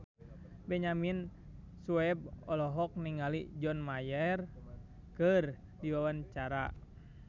Benyamin Sueb olohok ningali John Mayer keur diwawancara